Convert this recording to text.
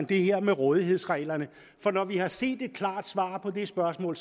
det her med rådighedsreglerne for når vi har set et klart svar på det spørgsmål